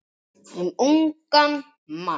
Um ungan mann.